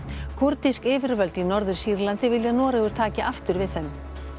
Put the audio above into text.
kúrdísk yfirvöld í Norður Sýrlandi vilja að Noregur taki aftur við þeim